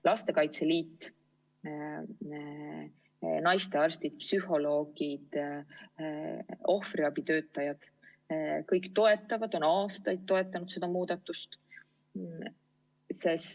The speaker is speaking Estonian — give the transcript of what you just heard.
Lastekaitse Liit, naistearstid, psühholoogid, ohvriabitöötajad – kõik toetavad, on aastaid toetanud seda muudatust.